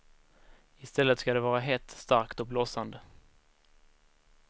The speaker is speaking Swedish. I stället ska det vara hett, starkt och blossande.